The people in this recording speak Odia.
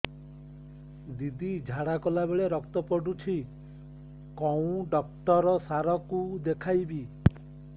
ଦିଦି ଝାଡ଼ା କଲା ବେଳେ ରକ୍ତ ପଡୁଛି କଉଁ ଡକ୍ଟର ସାର କୁ ଦଖାଇବି